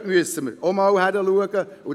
Dort müssen wir ebenfalls hinschauen.